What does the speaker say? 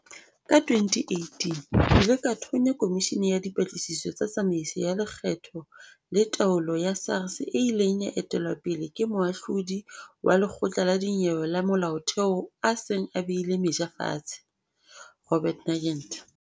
Ka 2018, ke ile ka thonya komishini ya dipatlisiso tsa tsamaiso ya lekgetho le taolo ya SARS e ileng ya etelwa pele ke Moahlodi wa Lekgotla la Dinyewe la Molaotheo a seng a behile meja fatshe, Robert Nugent.